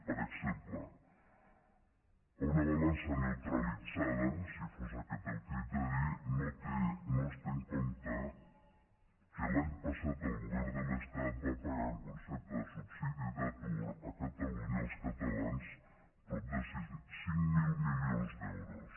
per exemple en una balança neutralitzada si fos aquest el criteri no es té en compte que l’any passat el govern de l’estat va pagar en concepte de subsidi d’atur a catalunya als catalans prop de cinc mil milions d’euros